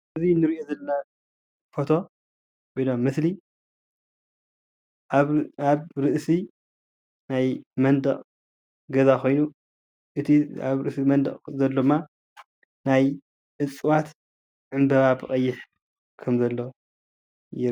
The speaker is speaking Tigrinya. እዛ እንሪኦ ዘለና ፎቶ ወይ ድማ ምስሊ ኣብ ርእሲ ናይ መንደቅ ገዛ ኾይኑ እቲ ኣብ ርእሲ መንደቅ ዘሎ ድማ ናይ እፅዋት ዕንበባ ብቀይሕ ከምዘሎ ይረአየኒ።